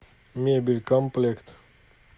мебель комплект